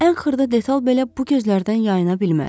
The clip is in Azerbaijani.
Ən xırda detal belə bu gözlərdən yayına bilməzdi.